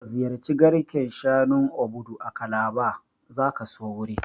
Ka ziyarci garken shanun Obudu a Calabar, zaka so wurin